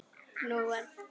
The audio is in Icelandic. Nú ber að vanda sig!